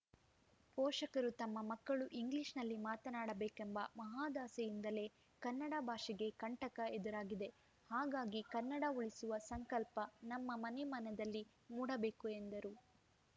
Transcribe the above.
ಪೋಷಕರು ತಮ್ಮ ಮಕ್ಕಳು ಇಂಗ್ಲೀಷ್‌ನಲ್ಲಿ ಮಾತನಾಡಬೇಕಂಬ ಮಹದಾಸೆಯಿಂದಲೇ ಕನ್ನಡ ಭಾಷೆಗೆ ಕಂಟಕ ಎದುರಾಗಿದೆ ಹಾಗಾಗಿ ಕನ್ನಡ ಉಳಿಸುವ ಸಂಕಲ್ಪ ನಮ್ಮ ಮನೆ ಮನದಲ್ಲಿ ಮೂಡಬೇಕು ಎಂದರು